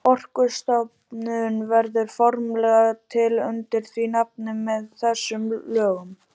Orkustofnun verður formlega til undir því nafni með þessum lögum.